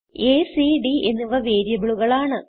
അ c d എന്നിവ വേരിയബിളുകൾ ആണ്